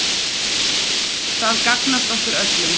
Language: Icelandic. Það gagnast okkur öllum.